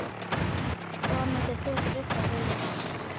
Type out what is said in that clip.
Hvað myndir þú frekar vilja?